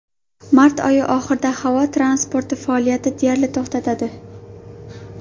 Mart oyi oxirida havo transporti faoliyati deyarli to‘xtadi.